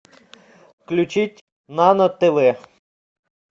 включить нано тв